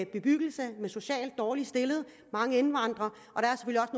bebyggelse med socialt dårligt stillede mennesker og mange indvandrere